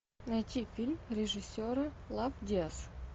найти фильм режиссера лав диас